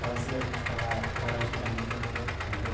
fazia a gente calar parar de dar risada, entendeu?